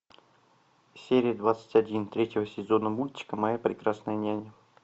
серия двадцать один третьего сезона мультика моя прекрасная няня